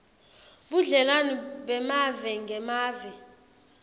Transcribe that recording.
budlelwane bemave ngemave